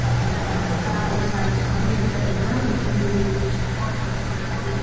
పక్కన రకరకాలైన పరిశ్రమలు శబ్దాల తోటి మనకు వినిపించడం.